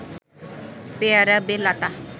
পেয়ারা বেল আতা